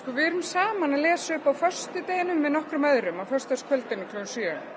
við erum saman að lesa upp á föstudeginum með nokkrum öðrum á föstudagskvöldinu klukkan sjö